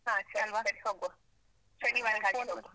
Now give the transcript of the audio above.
.